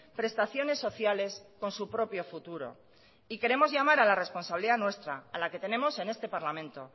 prestaciones sociales con su propio futuro y queremos llamar a la responsabilidad nuestra a la que tenemos en este parlamento